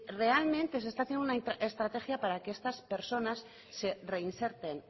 realmente se está haciendo una estrategia para que estas personas se reinserten